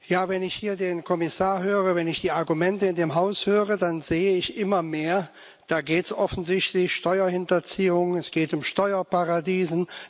Ja, wenn ich hier den Kommissar höre, wenn ich die Argumente in dem Haus höre, dann sehe ich immer mehr Da geht es offensichtlich um Steuerhinterziehung, es geht um Steuerparadiese.